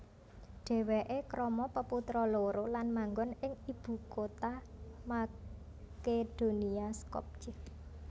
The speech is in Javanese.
Dhèwèké krama peputra loro lan manggon ing ibukutha Makedonia Skopje